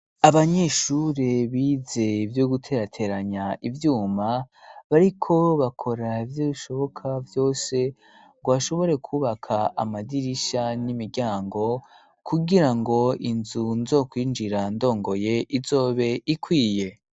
Abanyeshure bize ivyo guterateranya ibyuma bariko bakora byo ishoboka byose ngo ashobore kubaka amadirisha n'imiryango, kugira ngo inzu nzo kwinjira ndongoye izobe ikwiye.